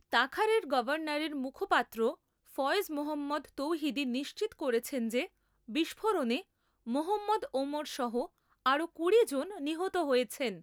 তাখারের গভর্নরের মুখপাত্র ফয়েজ মোহাম্মদ তৌহিদি নিশ্চিত করেছেন যে বিস্ফোরণে মোহাম্মদ ওমরসহ আরো কুড়ি জন নিহত হয়েছেন।